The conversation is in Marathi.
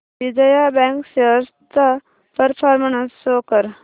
विजया बँक शेअर्स चा परफॉर्मन्स शो कर